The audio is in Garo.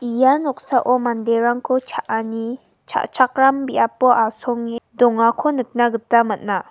ia noksao manderangko cha·ani cha·chakram biapo asonge dongako nikna gita man·a.